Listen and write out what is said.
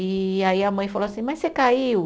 E aí a mãe falou assim, mas você caiu?